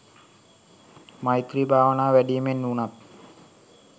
මෛත්‍රී භාවනාව වැඩීමෙන් වුණත්